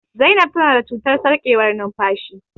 Zainab ta na da cutar sarƙewar numfashi